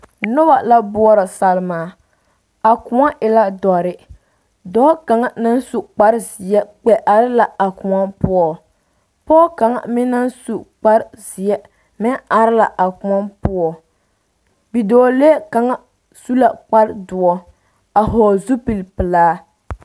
Noba la boɔrɔ salma a koɔ e la dɔre dɔɔ kaŋa naŋ su kparezeɛ kpɛ are la a koɔ poɔ pɔge kaŋa meŋ naŋ su kparezeɛ meŋ are la a koɔ poɔ bidɔɔlee kaŋa su la kparedoɔ a vɔgle zupilpelaa.